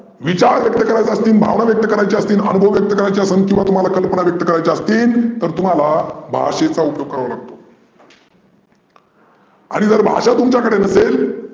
विचार व्यक्त करायच असतील भावना व्यक्त करायच असतील अनुभव व्यक्त करायच असेन किंवा कल्पना व्यक्त करायच्या असतील तर तुम्हाला भाषेचा उपयोग करावा लागतो. आणि जर भाषा तुमच्या कडे नसेल